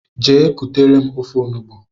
Gee kutere m ofe ọnụgbu!!!!